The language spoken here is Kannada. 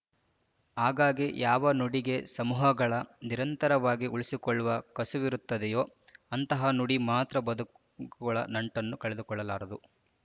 ಹಾಗಾಗಿ ಯಾವ ನುಡಿಗೆ ಸಮೂಹಗಳ ನಿರಂತರವಾಗಿ ಉಳಿಸಿಕೊಳ್ಳುವ ಕಸುವಿರುತ್ತದೆಯೋ ಅಂತಹ ನುಡಿ ಮಾತ್ರ ಬದುಕುಗಳ ನಂಟನ್ನು ಕಳೆದುಕೊಳ್ಳಲಾರದು